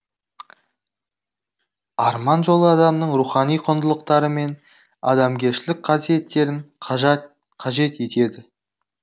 арман жолы адамның рухани құндылықтары мен адамгершілік қасиеттерін қажет етеді